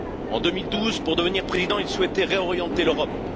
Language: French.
En 2012, pour devenir président, il souhaitait réorienter l'Europe.